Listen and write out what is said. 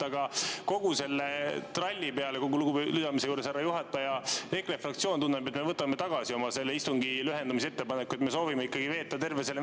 Aga kogu selle tralli peale, kogu lugupidamise juures, härra juhataja, EKRE fraktsioon tunneb, et me võtame tagasi oma istungi lühendamise ettepaneku, sest me soovime ikkagi veeta terve selle …